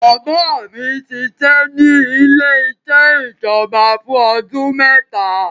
Bàbá mi ṣiṣẹ́ ní ilé-iṣẹ́ ìjọba fún ọdún mẹ́ta.